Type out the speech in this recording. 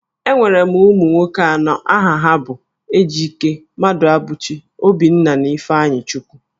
Enwere m ụmụ nwoke anọ, aha ha bụ Ejike, Mmaduabuchi, Obinna, na Ifeanyichukwu